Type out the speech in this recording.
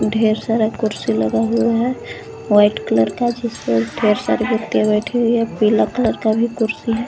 ढेर सारा कुर्सी लगा हुआ है वाइट कलर का जिसपे ढेर सारे वैकटी बैठे हुए है पीला कलर का भी कुर्सी है।